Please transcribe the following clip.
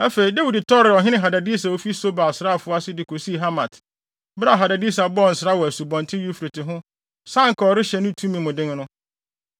Afei, Dawid tɔree ɔhene Hadadeser a ofi Soba asraafo ase de kosii Hamat, bere a Hadadeser bɔɔ nsra wɔ Asubɔnten Eufrate ho sɛ anka ɔrehyɛ ne tumi mu den no.